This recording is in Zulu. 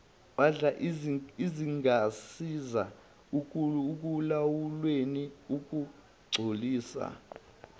ezingasiza ekulawulweni ukungcolisa